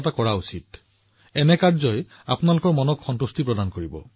আপুনি দেখিব আপোনাৰ মনে কিমান সন্তুষ্টি লাভ কৰে